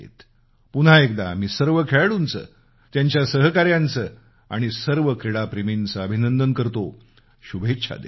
पुन्हा एकदा मी सर्व खेळाडूंचं त्यांच्या सहकार्यांचं आणि सर्व क्रीडाप्रेमींचं अभिनंदन करतो शुभेच्छा देतो